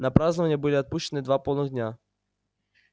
на празднования были отпущены два полных дня